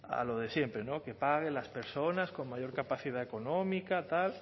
a lo de siempre no que paguen las personas con mayor capacidad económica tal